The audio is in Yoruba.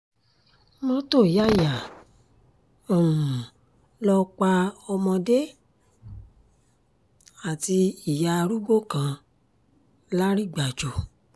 mọ́tò yá yá um lọ́ọ́ pa ọmọdé àti ìyá arúgbó kan lárìgbàjò